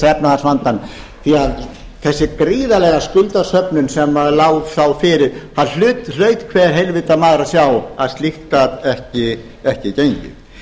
efnahagsvandann því að þessi gríðarlega skuldasöfnun sem maður sá fyrir það hlaut hver heilvita maður að sjá að slíkt gat ekki gengið